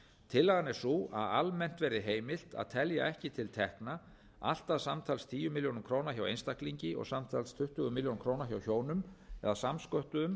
tillagan er sú að almennt verði heimilt að telja ekki til tekna allt að samtals tíu milljónir króna hjá einstaklingi og samtals tuttugu milljónir króna hjá hjónum eða samsköttuðum